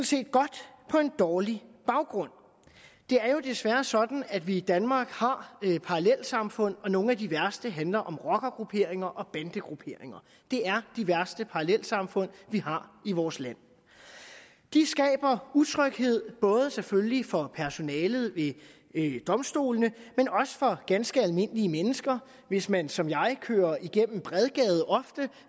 set godt på en dårlig baggrund det er jo desværre sådan at vi i danmark har parallelsamfund og nogle af de værste handler om rockergrupperinger og bandegrupperinger det er de værste parallelsamfund vi har i vores land det skaber utryghed både selvfølgelig for personalet ved domstolene men også for ganske almindelige mennesker hvis man som jeg kører igennem bredgade ofte og